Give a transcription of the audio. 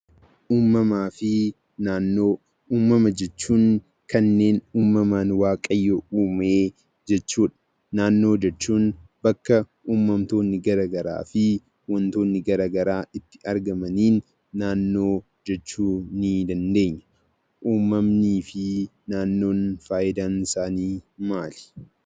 Uumamaa fi Naannoo: Uumama jechuun kanneen uumamaan waaqayyo uume jechuudha. Naannoo jechuun bakka uumamtoonni gara garaa fi wantoonni gara garaa keessatti argamaniin naannoo jechuu ni dandeenya. Uumamnii fi naannoon faayidaan isaanii maali?